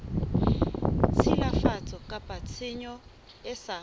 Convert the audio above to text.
tshilafatso kapa tshenyo e sa